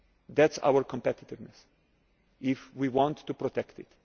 of us. That is our competitiveness if we want to protect